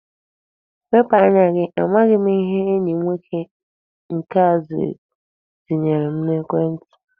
Wepụ anya gi! Amaghị m ihe enyi nwoke nke a ziyere m ekwentị!